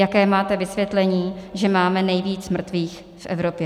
Jaké máte vysvětlení, že máme nejvíc mrtvých v Evropě?